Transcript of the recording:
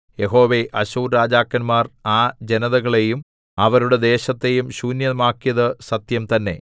യഹോവേ അശ്ശൂർരാജാക്കന്മാർ ആ ജനതകളെയും അവരുടെ ദേശത്തെയും ശൂന്യമാക്കിയത് സത്യംതന്നേ